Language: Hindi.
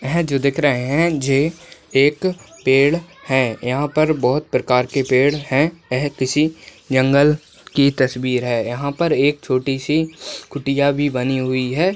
हैं जो दिख रहें हैं जे एक पेड़ हैं। यहाँ पर बहुत प्रकार के पेड़ हैं। यह किसी जंगल की तस्वीर है। यहाँ पर एक छोटी सी कुटिया भी बनी हुई है।